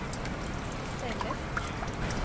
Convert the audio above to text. stället